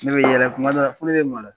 Ne bi yɛlɛ kuma dɔw la fo ne be maloya.